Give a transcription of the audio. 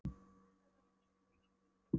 Hún hefur útsýni yfir Öskjuhlíð og flugvöllinn.